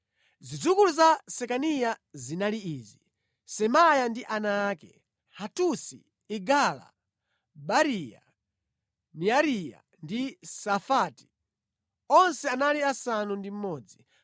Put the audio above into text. Zidzukulu za Sekaniya zinali izi: Semaya ndi ana ake: Hatusi, Igala, Bariya, Neariya ndi Safati. Onse anali asanu ndi mmodzi.